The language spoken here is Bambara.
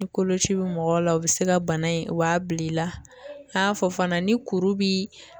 Ni koloci bi mɔgɔ la o be se ka bana in o b'a bila i la n'a fɔ fana ni kuru bi